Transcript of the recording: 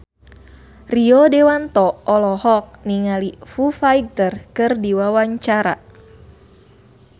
Rio Dewanto olohok ningali Foo Fighter keur diwawancara